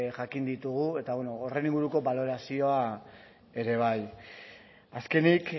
jakin ditugu eta horren inguruko balorazioa ere bai azkenik